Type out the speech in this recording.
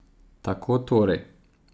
Tako torej!